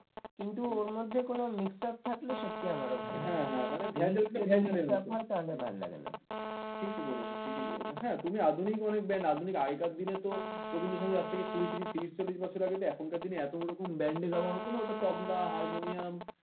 ঠিকই বলেছ ঠিকই বলেছ হ্যাঁ তুমি আধুনিক অনেক brand আধুনিক আগেকার দিনে তো রবীন্দ্র সংগীত আজ থেকে কুড়ি ত্রিরিশ ত্রিরিশ চল্লিশ বছর আগে তো এখনকার দিনে এতই রকম band দেওয়া হতো না ওটা তবলা হারমোনিয়াম